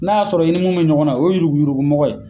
Na y'a sɔrɔ i ni mun be ɲɔgɔn na , o ye yuruku yuruku mɔgɔ ye